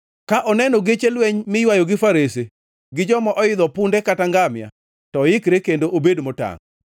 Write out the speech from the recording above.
Ka oneno geche lweny miywayo gi farese, gi joma oidho punde kata ngamia, to oikre kendo obed motangʼ.”